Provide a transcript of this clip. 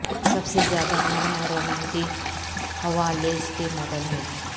سب سے زیادہ نرم اور رومانٹک ہوا لیس کے ماڈل ہیں